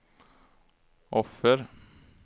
offer